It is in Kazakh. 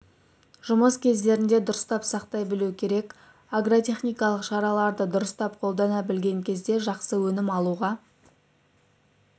жұмыс кездерінде дұрыстап сақтай білу керек агротехникалық шараларды дұрыстап қолдана білген кезде жақсы өнім алуға